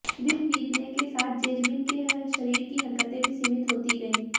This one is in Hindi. दिन बीतने के साथ जेजमिन के शरीर की हरकतें भी सीमित होती गईं